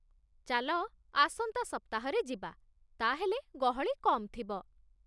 ଚାଲ, ଆସନ୍ତା ସପ୍ତାହରେ ଯିବା, ତା'ହେଲେ ଗହଳି କମ୍ ଥିବ